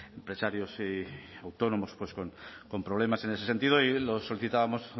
empresarios y autónomos pues con problemas en ese sentido y lo solicitábamos